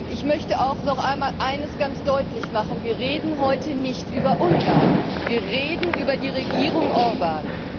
Ich möchte auch noch einmal Eines ganz deutlich machen Wir reden heute nicht über Ungarn, wir reden über die Regierung Orbán.